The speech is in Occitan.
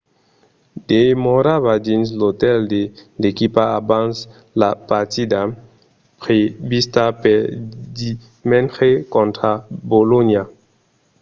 demorava dins l'otèl de l'equipa abans la partida prevista per dimenge contra bolonha